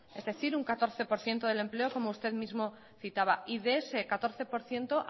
es decir un catorce por ciento del empleo como usted mismo citaba y de ese catorce por ciento